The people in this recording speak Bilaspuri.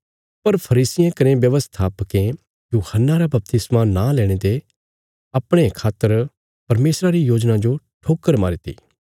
पर फरीसियें कने व्यवस्थापकें यूहन्ना रा बपतिस्मा नां लेणे ते अपणे खातर परमेशरा री योजना जो ठोकर मारीती